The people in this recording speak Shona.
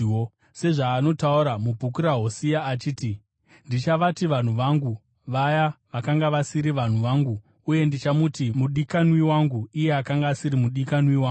Sezvaanotaura mubhuku raHosea achiti: “Ndichavati ‘vanhu vangu’ vaya vakanga vasiri vanhu vangu; uye ndichamuti, ‘mudikanwi wangu’ iye akanga asiri mudikanwi wangu,”